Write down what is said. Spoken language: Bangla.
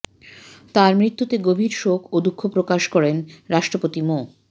তাঁর মৃত্যুতে গভীর শোক ও দুঃখ প্রকাশ করেন রাষ্ট্রপতি মো